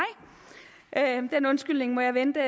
den undskyldning må jeg vente